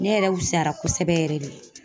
Ne yɛrɛ wusayara kosɛbɛ yɛrɛ de